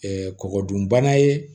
kɔgɔ dun bana ye